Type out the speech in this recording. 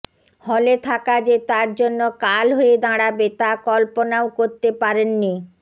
হলে থাকা যে তার জন্য কাল হয়ে দাঁড়াবে তা কল্পনাও করতে পারেননি